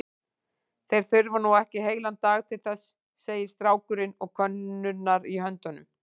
Þeir þurfa nú ekki heilan dag til þess, segir strákurinn og könnurnar í höndum